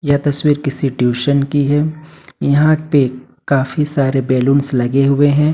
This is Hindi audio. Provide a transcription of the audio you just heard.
यह तस्वीर किसी ट्यूशन की है यहां पे काफी सारे बैलूंस लगे हुए हैं।